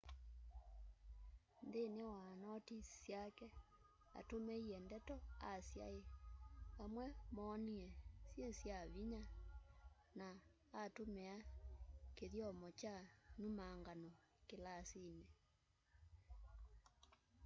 nthini wa notis syake atumiie ndeto asyai amwe moonie syi sya vinya na atumia kithyomo kya mbumangano kilasini